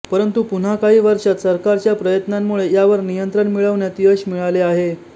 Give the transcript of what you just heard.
परंतु पुन्हा काही वर्षात सरकारच्या प्रयत्नांमुळे यावर नियंत्रण मिळवण्यात यश मिळाले आहे